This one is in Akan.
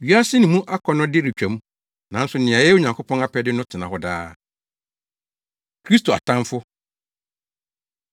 Wiase ne mu akɔnnɔde retwa mu, nanso nea ɔyɛ Onyankopɔn apɛde no tena hɔ daa. Kristo Atamfo